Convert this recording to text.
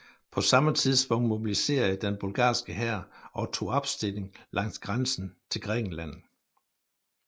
På samme tidspunkt mobiliserede den bulgarske hær og tog opstilling langs grænsen til Grækenland